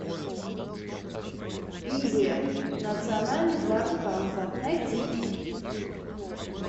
индия национальный парк канха найти